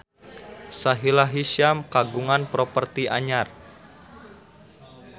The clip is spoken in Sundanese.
Sahila Hisyam kagungan properti anyar